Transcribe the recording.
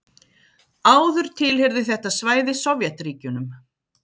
Áður tilheyrði þetta svæði Sovétríkjunum.